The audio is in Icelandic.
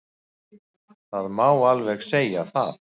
Það má alveg segja það.